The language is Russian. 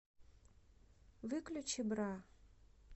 выключи бра